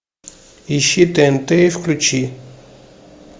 ищи тнт и включи